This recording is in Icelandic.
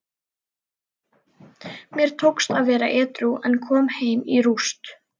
Mér tókst að vera edrú en kom heim í rúst.